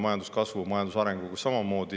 Majanduskasvu ja majanduse arenguga on samamoodi.